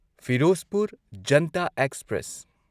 Firozpur Janata express